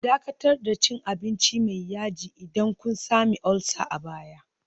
Dakatar da cin abinci mai yaji idan kun sami ulcer a baya